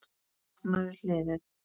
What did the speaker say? Opnaðu hliðið.